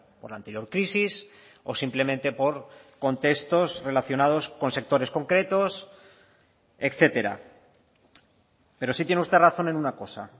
por la anterior crisis o simplemente por contextos relacionados con sectores concretos etcétera pero sí tiene usted razón en una cosa